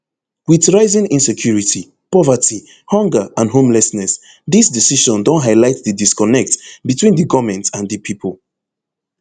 wit rising insecurity poverty hunger and homelessness dis decision don highlight di disconnect between di goment and di pipo